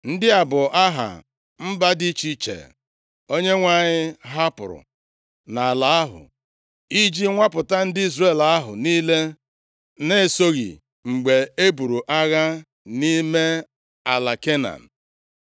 Ndị a bụ aha mba dị iche iche Onyenwe anyị hapụrụ nʼala ahụ iji nwapụta ndị Izrel ahụ niile na-esoghị mgbe e buru agha nʼime ala Kenan.